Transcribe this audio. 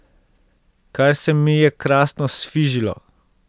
Kar se mi je krasno sfižilo.